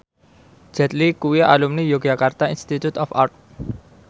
Jet Li kuwi alumni Yogyakarta Institute of Art